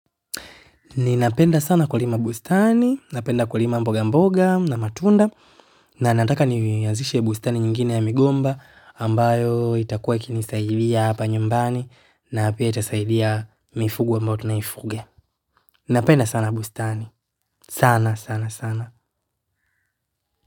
Ninapenda sana kulima bustani, napenda kulima mboga mboga na matunda na nataka niazishe bustani nyingine ya migomba ambayo itakua ikinisaidia hapa nyumbani na pia itasaidia mifugo ambayo tunaifuga. Napenda sana bustani sana, sana, sana.